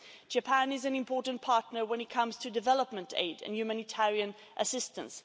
Japan is an important partner when it comes to development aid and humanitarian assistance.